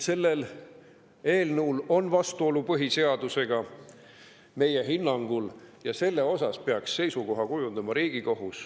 See eelnõu on meie hinnangul vastuolus põhiseadusega ja selle suhtes peaks oma seisukoha kujundama Riigikohus.